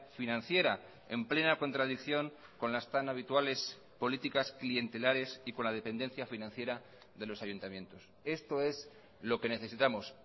financiera en plena contradicción con las tan habituales políticas clientelares y con la dependencia financiera de los ayuntamientos esto es lo que necesitamos